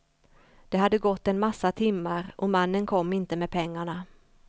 Det hade gått en massa timmar och mannen kom inte med pengarna.